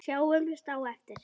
Sjáumst á eftir